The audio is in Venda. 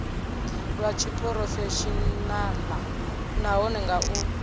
lwa tshiphurofeshenaḽa nahone nga u